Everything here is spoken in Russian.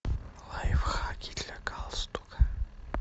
лайфхаки для галстука